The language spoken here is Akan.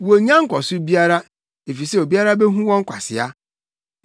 Wonnya nkɔso biara efisɛ obiara behu wɔn kwasea.